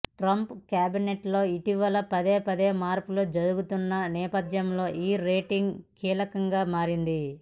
Trump క్యాబినెట్లో ఇటీవల పదేపదే మార్పులు జరుగుతున్న నేపథ్యంలో ఈ రేటింగ్ కీలకంగా మారింది